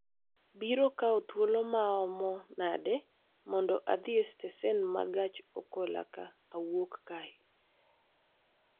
biro kawo thuolo maomo nade mondo adhi e stesen ma gach okoloka awuok kae